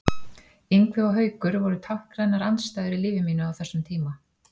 Ingvi og Haukur voru táknrænar andstæður í lífi mínu á þessum tíma.